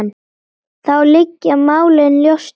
Þá liggja málin ljóst fyrir.